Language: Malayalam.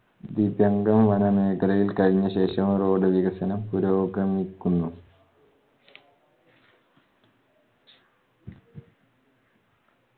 വനമേഖലയിൽ കഴിഞ്ഞ ശേഷം road വികസനം പുരോഗമിക്കുന്നു